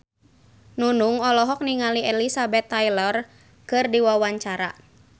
Nunung olohok ningali Elizabeth Taylor keur diwawancara